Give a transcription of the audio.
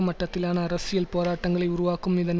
மட்டத்திலான அரசியல் போராட்டங்களை உருவாக்கும் இதன்